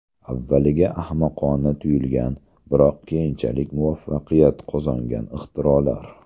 Avvaliga ahmoqona tuyulgan, biroq keyinchalik muvaffaqiyat qozongan ixtirolar .